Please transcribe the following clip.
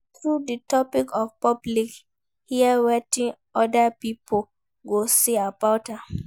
Throw di topic for public hear wetin other pipo go say about am